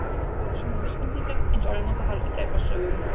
Þetta voru svona vísbendingar eins og eru notaðar í glæpasögum.